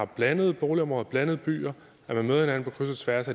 blandede boligområder blandede byer at man møder hinanden på kryds og tværs